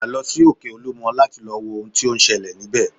Padà lọ sí òkè olúmọ láti lọ wo ohun tí ó ń ṣẹlẹ̀ níbẹ̀